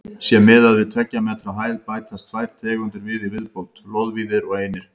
Sé miðað við tveggja metra hæð bætast tvær tegundir við í viðbót: loðvíðir og einir.